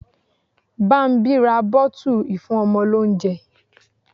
Bámbí ra bottle ìfúnọmọ ní oúnjẹ.